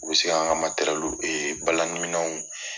U bɛ se kan ka e balani minɛw